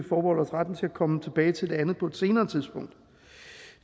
komme tilbage til det andet på et senere tidspunkt